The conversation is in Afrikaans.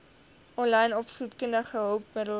aanlyn opvoedkundige hulpmiddele